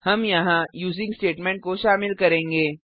हम यहाँ using statement को शामिल करेंगे